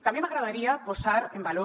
també m’agradaria posar en valor